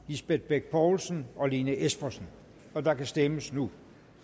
lisbeth bech poulsen og lene espersen og der kan stemmes nu